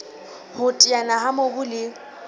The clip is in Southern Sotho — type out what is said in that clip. ho teteana ha mobu le